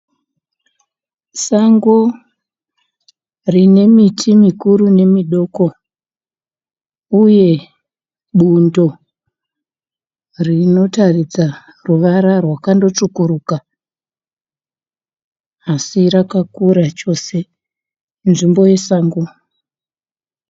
Sango rine miti mikuru nemidoko uye bundo rinotaridza ruvara rwakandotsvukuruka, asi rakakura chose, inzvimbo yesango.